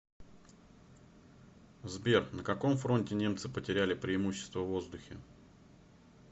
сбер на каком фронте немцы потеряли преимущество в воздухе